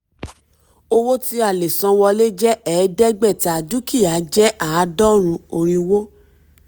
owó tí a lè san wọlé jẹ́ ẹ̀ẹ́dẹ́gbẹ̀ta dúkìá jẹ́ àádọ́rùn irínwó.